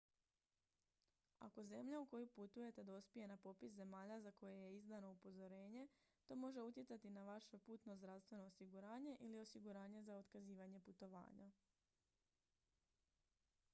ako zemlja u koju putujete dospije na popis zemalja za koje je izdano upozorenje to može utjecati na vaše putno zdravstveno osiguranje ili osiguranje za otkazivanje putovanja